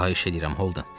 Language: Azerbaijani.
Xahiş eləyirəm, Holden.